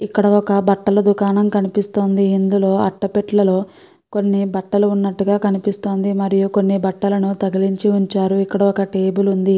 ఇక్కడ ఒక బట్టల దుకాణం కనిపిస్తోంది. ఇందులో అట్ట పెట్టలలో కొన్ని బట్టలు వున్నట్టుగా కనిపిస్తోంది. మరియు కొన్ని బట్టలను తగిలించి వుంచారు. ఇక్కడ ఒక టేబుల్ వుంది.